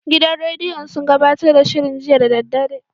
Gidan rediyon sun gabatar da shirin jiya da daddare.